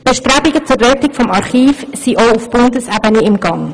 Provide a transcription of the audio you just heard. Bestrebungen zur Rettung des Archivs sind auch auf Bundesebene im Gang.